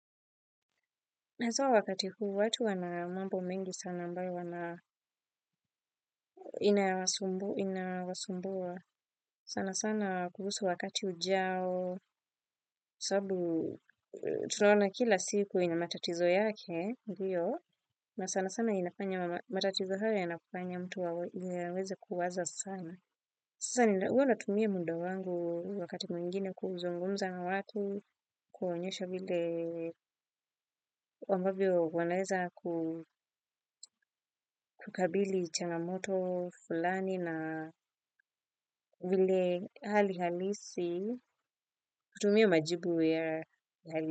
Hasa wakati huu watu wana mambo mengi sana ambayo inawasumbua sana sana kuhusu wakati ujao sababu tunaona kila siku ina matatizo yake ndiyo na sana sana inafanya matatizo haya yanafanya mtu aweze kuwaza sana. Sasa ni huwa natumia muda wangu wakati mwingine kuzungumza na watu, kuonyesha vile ambavyo wanaeza kukabili changamoto fulani na vile hali halisi, hutumia majibu ya hali.